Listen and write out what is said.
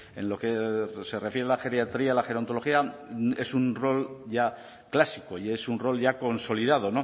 en lo que se refiere a la geriatría la gerontología es un rol ya clásico y es un rol ya consolidado